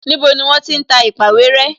Níbo ni wọ́n ti ń ta èpàwéré?